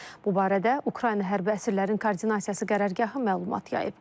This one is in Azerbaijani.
Bu barədə Ukrayna hərbi əsirlərin koordinasiyası qərargahı məlumat yayıb.